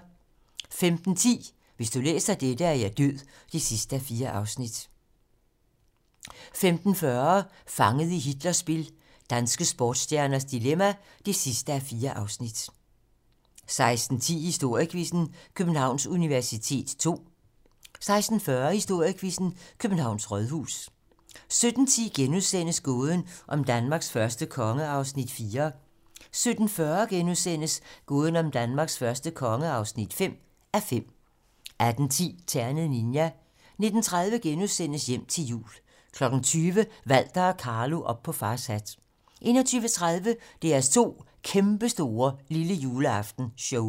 15:10: Hvis du læser dette, er jeg død (4:4) 15:40: Fanget i Hitlers spil - danske sportsstjerners dilemma (4:4) 16:10: Historiequizzen: Københavns universitet ll 16:40: Historiequizzen: Københavns Rådhus 17:10: Gåden om Danmarks første konge (4:5)* 17:40: Gåden om Danmarks første konge (5:5)* 18:10: Ternet Ninja 19:30: Hjem til jul * 20:00: Walter og Carlo - op på fars hat 21:30: DR2's kæmpestore lillejuleaftenshow